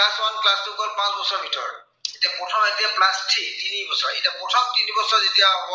প্ৰথম পাঁচ বছৰৰ ভিতৰত। এতিয়া প্ৰথম এতিয়া class three তিনিবছৰ। এতিয়া প্ৰথম তিনিবছৰ যেতিয়া হব,